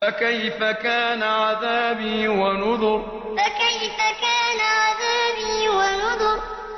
فَكَيْفَ كَانَ عَذَابِي وَنُذُرِ فَكَيْفَ كَانَ عَذَابِي وَنُذُرِ